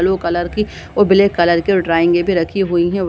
Blue colour और black colour की ड्राविंगे भी रखी हुई है।